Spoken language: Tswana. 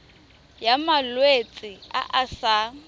ya malwetse a a sa